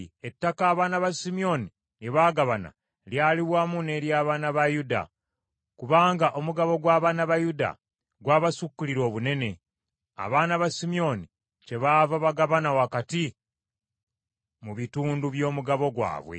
Ettaka abaana ba Simyoni lye baagabana lyali wamu n’ery’abaana ba Yuda. Kubanga omugabo gw’abaana ba Yuda gwabasukkirira obunene; abaana ba Simyoni kyebaava bagabana wakati mu bitundu by’omugabo gwabwe.